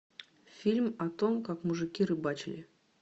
фильм о том как мужики рыбачили